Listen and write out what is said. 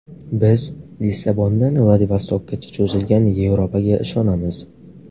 Biz Lissabondan Vladivostokkacha cho‘zilgan Yevropaga ishonamiz.